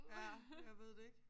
Ja jeg ved det ikke